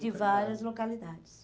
localidades. De várias localidades.